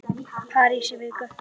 París í viku?